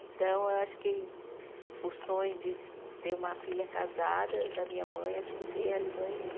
Então, eu acho que o sonho de ter uma filha casada da minha mãe, acho que se realizou em mim.